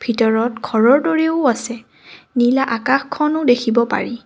ভিতৰত ঘৰৰ দৰেও আছে নীলা আকাশখনো দেখিব পাৰি।